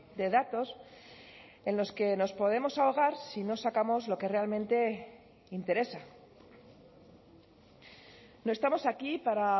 de datos en los que nos podemos ahogar si no sacamos lo que realmente interesa no estamos aquí para